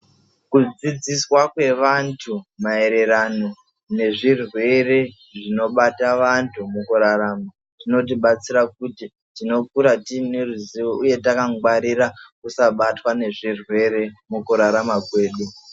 Kudzidziswa kwevantu maererano nezvirwere zvinobata vantu mukurarama zvinotibatsira kuti tinokura tine ruzivo uye takangwarira kusabatwa nezvirwere mukurarama kwedu .